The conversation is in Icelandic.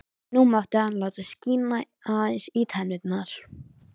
Nú mátti hann láta skína aðeins í tennurnar.